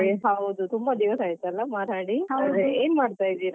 ಹಾ ಏನಿಲ್ಲ ಅದೇ ತುಂಬಾ ದಿವಸ ಆಯ್ತಲ್ಲ ಮಾತಾಡಿ ಹಾ ಏನು ಮಾಡ್ತಿದ್ದೀರಾ?